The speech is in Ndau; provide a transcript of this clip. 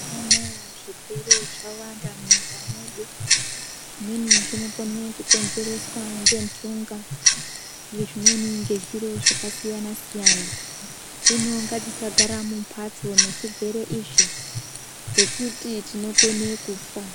Mazuwa anaya zvirwere zvawanda munyika mwedu zvimweni zvinokone kukonzereswa ngenhunga, zvimweni ngezviro zvakasiyana siyana, hino ngatisagara mumbatso nezvirwere izvi ngekuti tinokone kufa.